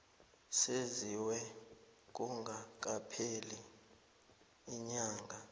senziwe kungakapheli iinyanga